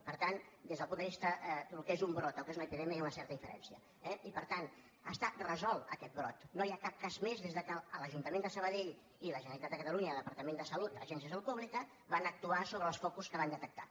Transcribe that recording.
per tant des del punt de vista del que és un brot i el que és una epidèmia hi ha una certa diferència eh i per tant està resolt aquest brot no hi ha cap cas més des que l’ajuntament de sabadell i la generalitat de catalunya el departament de salut agència de salut pública van actuar sobre els focus que van detectar